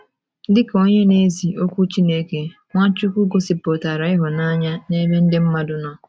Dị ka onye na - ezi Okwu Chineke, Nwachukwu gosipụtara ịhụnanya n’ebe ndị mmadụ nọ